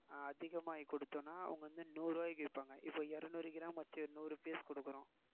அதிகமாயி கொடுத்தோம்னா அவுங்க வந்து நூறுவாய்க்கு விப்பாங்க இப்ப இருநூறு gram வச்சு நூறு piece கொடுக்கிறோம்